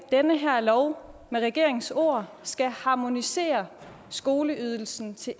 den her lov med regeringens ord skal harmonisere skoleydelsen til